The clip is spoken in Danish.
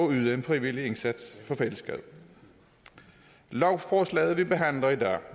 yde en frivillig indsats for fællesskabet lovforslaget vi behandler